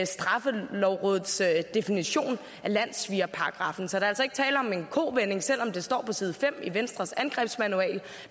straffelovrådets definition af landssvigerparagraffen så der er altså ikke tale om en kovending selv om det står på side fem i venstres angrebsmanual